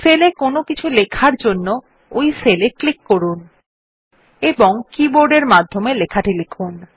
sell এ কোনো কিছু লেখার জন্য ওই সেল এ ক্লিক করুন এবং কীবোর্ড এর মাধ্যমে লেখাটি লিখুন